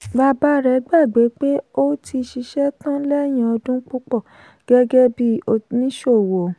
bàbá rẹ̀ gbagbé pé ó ti ṣiṣẹ́ tán lẹ́yìn ọdún púpọ̀ gẹ́gẹ́ bí oníṣòwò.